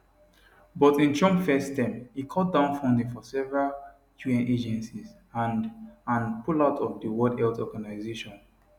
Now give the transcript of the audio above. but in trump first term e cut down funding for several un agencies and and pull out of di world health organisation